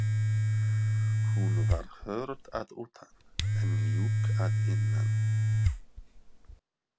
Hún var hörð að utan, en mjúk að innan.